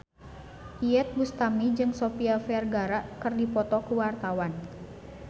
Iyeth Bustami jeung Sofia Vergara keur dipoto ku wartawan